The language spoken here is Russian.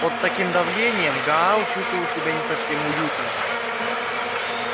под таким давлением гаал чувствовал себя не совсем уютно